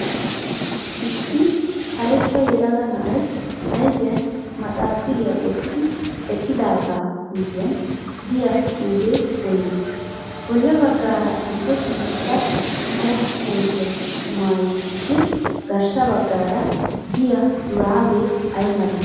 Issi karetta yelaga na"ayi ayipiyaan maxaaxiriyaa wottidi eqqidaaga miyyiyaan diya xuupe woyigii? Bolla baggaara adil"ee ciishsha mala kootiyaa mayiisishin garssa baggara diya shuraabee ayimalee?